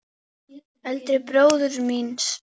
Eldri bróður míns?